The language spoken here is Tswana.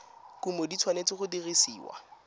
kumo di tshwanetse go dirisiwa